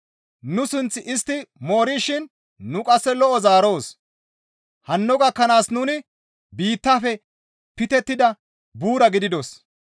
Nu sunth istti moorishin nu qasse lo7o zaaroos; hanno gakkanaas nuni biittafe pitettida buura gididos.